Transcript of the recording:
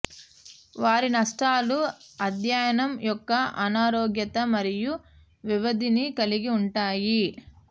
వారి నష్టాలు అధ్యయనం యొక్క అనారోగ్యత మరియు వ్యవధిని కలిగి ఉంటాయి